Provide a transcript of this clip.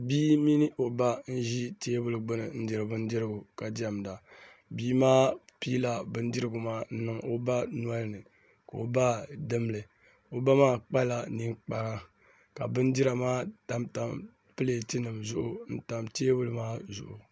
Bia mini o ba n ʒi teebuli gbuni n diri bindirigu ka diɛmda bia maa piila bindirigu maa n niŋ o ba nolini ka o ba dimli o ba maa kpala ninkpara ka bindira maa tamtam pileet nim zuɣu n tam teebuli maa zuɣu